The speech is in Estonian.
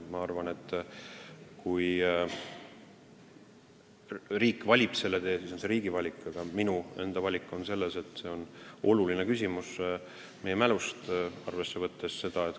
Kui riik valib selle tee, siis on see riigi valik, aga minu enda arvamus on, et see on oluline meie mäluga seotud küsimus.